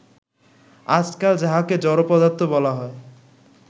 আজকাল যাহাকে জড় পদার্থ বলা হয়